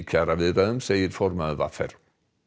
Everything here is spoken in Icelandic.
kjaraviðræðunum segir formaður v r